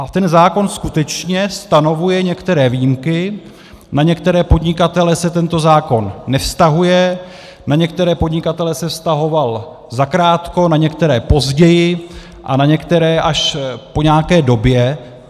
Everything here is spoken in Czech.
A ten zákon skutečně stanovuje některé výjimky, na některé podnikatele se tento zákon nevztahuje, na některé podnikatele se vztahoval zakrátko, na některé později a na některé až po nějaké době.